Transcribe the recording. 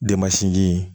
Demansinji in